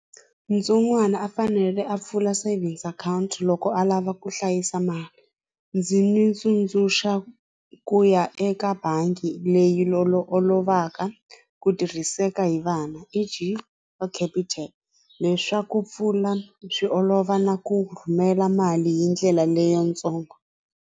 Ntsongwana a fanele a pfula savings account loko a lava ku hlayisa mali ndzi n'wi tsundzuxa ku ya eka bangi leyi olovaka ku tirhiseka hi vana E_G wa capitec leswaku pfula swi olova na ku rhumela mali hi ndlela leyitsongo.